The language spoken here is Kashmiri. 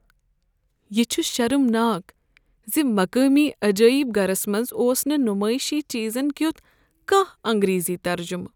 یہ چھُ شرمناک ز مقٲمی عجائب گرس منٛز اوس نہٕ نمایشی چیزن کیُتھ کانٛہہ انگریزی ترجمہٕ۔